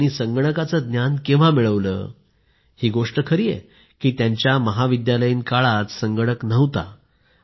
मग त्यांनी संगणकाचे ज्ञान केव्हा मिळवलं ही गोष्ट खरी आहे की त्यांच्या महाविद्यालयीन काळात संगणक नव्हता